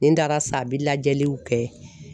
Nin dara sa bi lajɛliw kɛ.